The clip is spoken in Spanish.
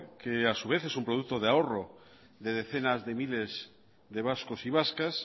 que a su vez es un producto de ahorro de decenas de miles de vascos y vascas